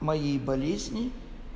моей болезни